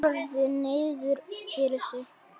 Horfði niður fyrir sig.